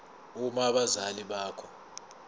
uma abazali bakho